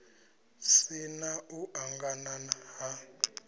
si na u angana ha